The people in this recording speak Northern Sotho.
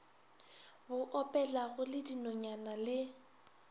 bo opelago le dinonyana le